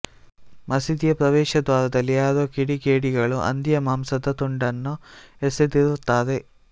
ಮಸೀದಿಯ ಪ್ರವೇಶ ದ್ವಾರದಲ್ಲಿ ಯಾರೋ ಕಿಡಿಗೇಡಿಗಳು ಹಂದಿಯ ಮಾಂಸದ ತುಂಡನ್ನು ಎಸೆದಿರುತ್ತಾರೆ